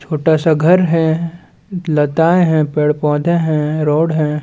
छोटा सा घर है लतायें है पेड़-पौधे है रोड है।